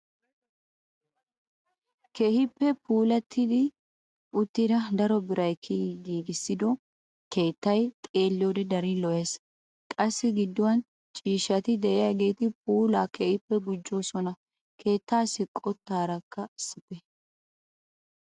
Keehippe puulatti uttida daro biray kiyidi giigissido keettay xeelliyoode darin lo"ees. qassi gidduwaan ciishshati de'iyaageti puulaa keehippe gujjidosona keettasi qottaaraka issippe.